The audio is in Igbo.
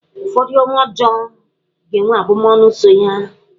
Ụfọdụ ọrụ ọjọọ ga-enwe abụmọnụ so ya.